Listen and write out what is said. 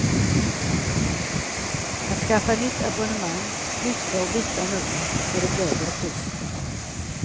Att skaffa nytt abonnemang, flytta och byta nummer får ett lägre pris.